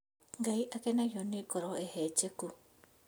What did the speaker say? Ngai akenagio nĩ ngoro hehenjeku